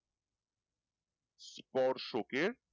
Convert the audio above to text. স্পর্শ কে